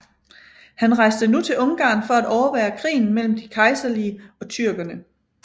Han rejste nu til Ungarn for at overvære krigen mellem de kejserlige og tyrkerne